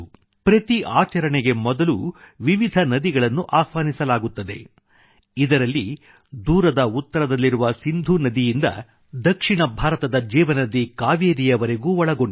ಪ್ರತಿ ಆಚರಣೆಗೆ ಮೊದಲು ವಿವಿಧ ನದಿಗಳನ್ನು ಆಹ್ವಾನಿಸಲಾಗುತ್ತದೆ ಇದರಲ್ಲಿ ದೂರದ ಉತ್ತರದಲ್ಲಿರುವ ಸಿಂಧು ನದಿಯಿಂದ ದಕ್ಷಿಣ ಭಾರತದ ಜೀವನದಿ ಕಾವೇರಿಯವರೆಗೂ ಒಳಗೊಂಡಿದೆ